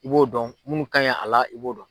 I b'o dɔn munnu ka ɲi a la i b'o dɔn.